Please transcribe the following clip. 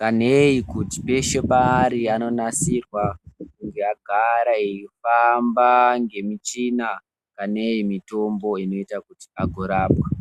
kanei kuti peshe paanonga ari anonasirwa kuti agare eifamba ngemichina kanei mitombo inoite kuti agorapwa.